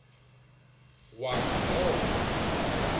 wazi loo nto